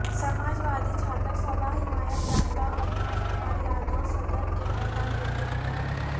سماج وادی چھاتر سبھا حمایت یافتہ اویناش کمار یادوصدر کے عہدہ کیلئے منتخب